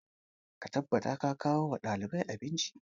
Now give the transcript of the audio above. Ka tabbata ka kawo wa ɗaliban abinci!